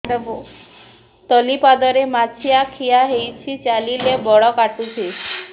ତଳିପାଦରେ ମାଛିଆ ଖିଆ ହେଇଚି ଚାଲିଲେ ବଡ଼ କାଟୁଚି